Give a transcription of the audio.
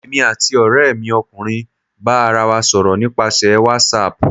èmí atí oremi ọkunrin ba ará wa sọrọ nipasẹ watsap.